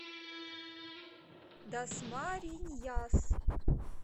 дасмариньяс